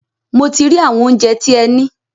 Mo ti rí àwọn óunjẹ tí ẹ ní.